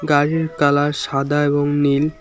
গাড়ির কালার সাদা এবং নীল।